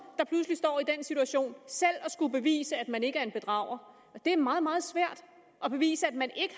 der pludselig står i den situation selv at skulle bevise at man ikke er en bedrager og det er meget meget svært at bevise at man ikke